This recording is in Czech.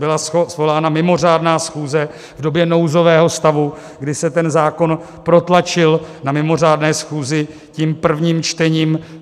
Byla svolána mimořádná schůze v době nouzového stavu, kdy se ten zákon protlačil na mimořádné schůzi tím prvním čtením.